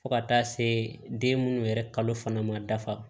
Fo ka taa se den minnu yɛrɛ kalo fana ma dafa